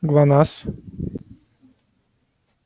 глонассс